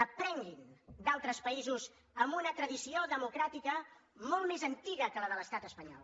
aprenguin d’altres països amb una tradició democràtica molt més antiga que la de l’estat espanyol